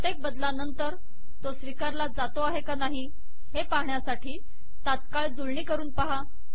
प्रत्येक बदलानंतर तो स्वीकारार्ह आहे की नाही हे पहाण्यासाठी तात्काळ जुळणी करून पहा